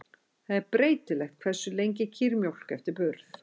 Það er breytilegt hversu lengi kýr mjólka eftir burð.